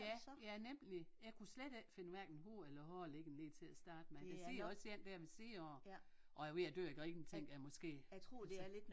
Ja ja nemlig jeg kunne slet ikke finde hverken hovede eller hale ikke lige til at starte med der sidder også en dér ved siden af og er ved at dø af grin tænker jeg måske altså